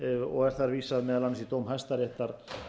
og er þar vísað meðal annars í dóm hæstaréttar